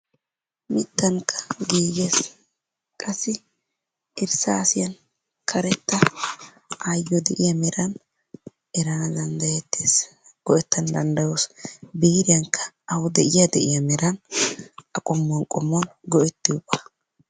Mittankka giigees qassi irssassiyaan karetta ayyo de'iyaa meran eranna danddayettees, go"ettana danddayoos. Biiriyankka awu de'iyaa de'iyaa meran a qommuwan qommuwan go"ettiyooga.